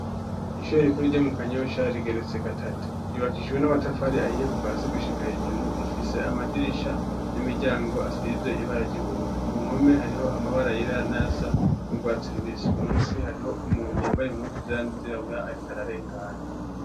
Ishure rikuru ryo mu Kanyosha rigeretse gatatu ryubakishijwe n'amatafari ahiye kuva hasi gushika hejuru, rifise amadirisha n'imiryango asize ibara ry'ubururu. Ku mpome hariho amabara asa n'urwatsi rubisi. Munsi hariho umuntu yambaye impuzu zera n'izirabura ariko ararengana.